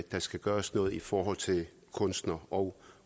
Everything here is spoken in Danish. skal gøres noget i forhold til kunstnere og